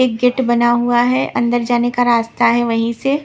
एक गेट बना हुआ है अंदर जाने का रास्ता है वहीं से --